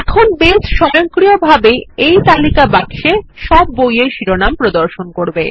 এখন বেস স্বয়ংক্রিয়ভাবে এই তালিকা বাক্সে সব বইয়ের শিরোনাম প্রদর্শন করবে